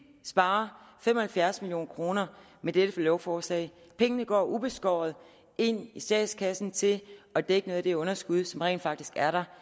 sparer fem og halvfjerds million kroner med dette lovforslag pengene går ubeskåret ind i statskassen til at dække noget af det underskud som rent faktisk er der